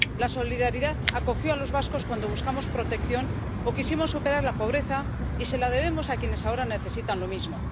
La solidaridad acogió a los vascos cuando buscamos protección o quisimos superar la pobreza, y se la debemos a quienes ahora necesitan lo mismo.